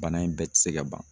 Bana in bɛɛ tɛ se ka ban